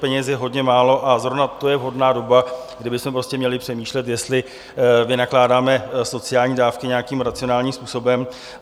Peněz je hodně málo a zrovna to je vhodná doba, kdy bychom měli přemýšlet, jestli vynakládáme sociální dávky nějakým racionálním způsobem.